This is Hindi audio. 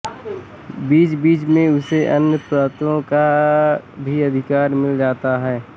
बीचबीच में उसे अन्य प्रांतों का भी अधिकार मिल जाता था